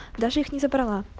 даже их не забрала